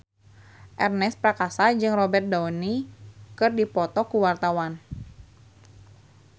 Ernest Prakasa jeung Robert Downey keur dipoto ku wartawan